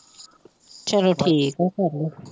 ਚੱਲੋ ਠੀਕ ਹੈ ਫੇਰ ਤਾਂ